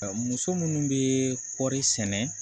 Muso minnu bɛ kɔɔri sɛnɛ